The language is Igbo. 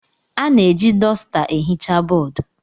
A na-eji dọsta ehicha bọọdụ.